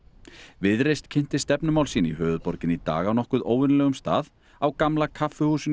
viðreisn kynnti stefnumál sín í höfuðborginni í dag á nokkuð óvenjulegum stað á Gamla kaffihúsinu í